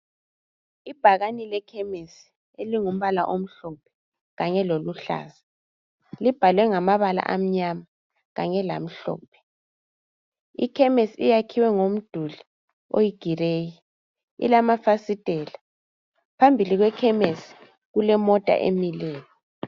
Ibhakane lekhemisi elingumbala omhlophe kanye loluhlaza, libhalwe ngamabala amnyama kanye lamhlophe. Ikhemesi iyakhiwe ngomduli oyigireyi ilamafasitela phambili kwekhemesi kulemota emileyo.